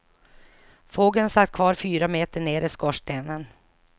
Fågeln satt kvar fyra meter ner i skorstenen.